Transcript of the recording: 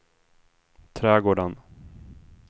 trädgården